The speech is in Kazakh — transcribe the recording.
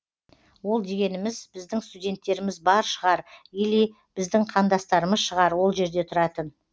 ол дегеніміз біздің студенттеріміз бар шығар или біздің қандастарымыз шығар ол жерде тұратын